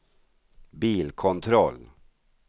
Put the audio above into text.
bilkontroll